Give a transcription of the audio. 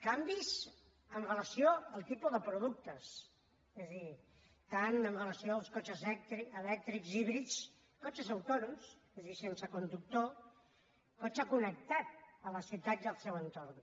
canvis amb relació al tipus de productes és a dir tant amb relació als cotxes elèctrics híbrids cotxes autònoms és a dir sense conductor cotxe connectat a les ciutats i el seu entorn